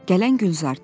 Gələn Gülzardı.